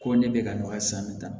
Ko ne bɛ ka nɔgɔya san bɛ taa